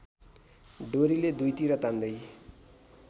डोरीले दुईतिर तान्दै